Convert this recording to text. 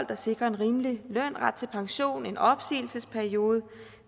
der sikrer en rimelig løn ret til pension en opsigelsesperiode